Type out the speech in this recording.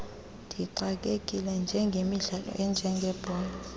ndixakekile ngemidlalo enjengebhola